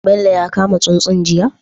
Bello ya kama tsuntsun jiya?